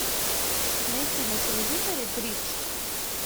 найти на телевизоре бридж